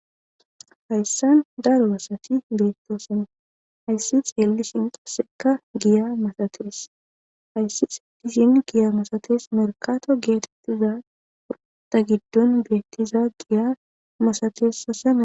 Hayssan daro asatti bettosonna. Hayssan xeelishin qasekka giyya misattes. Hayssi xeelishin misattes. Markatto gettetida Giya giddon bettiza giya misattes. Asa na'ay